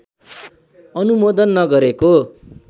अनुमोदन नगरेको